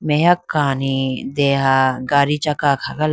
aheya kani dega gadi chakka akha gala.